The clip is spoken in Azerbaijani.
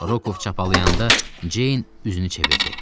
Rokov çapalayanda Ceyn üzünü çevirdi.